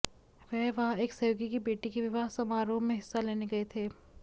वह वहां एक सहयोगी की बेटी के विवाह समारोह में हिस्सा लेने गए थे